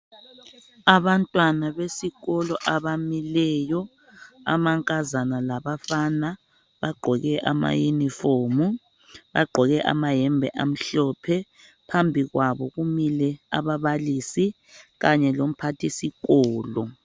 Abantwana besikolo abamileyo, amankazana labafana bagqoke ama uniform. Bagqoke amayembe amhlophe, phambi kwabo kumile ababalisi kanye lomphathisikolo.